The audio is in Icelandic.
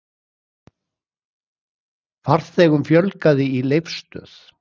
Farþegum fjölgaði í Leifsstöð